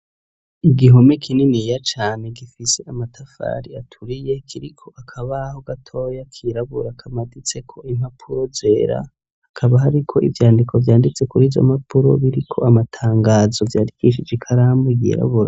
Igihome kininiya cane gifise amatafari aturiye kiriko akabaho gatoya kirabura kamaditseko impapuro zera, hakaba hariko ivyandiko vyanditse kuri izo mpapuro biriko amatangazo vyandikishije ikaramu yirabura.